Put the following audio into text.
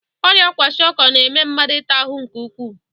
Ọrịa kwashịọkọ na-eme mmadụ ịta ahụ nke ukwuu.